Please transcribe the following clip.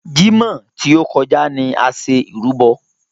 Jímọ̀ tí o kọjá ni a ṣe ìrúbọ.